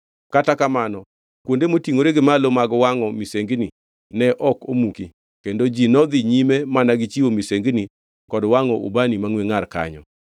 Kata kamano kuonde motingʼore gi malo mag wangʼo misengini ne ok omuki, kendo ji nodhi nyime mana gi chiwo misengini kod wangʼo ubani mangʼwe ngʼar kanyo.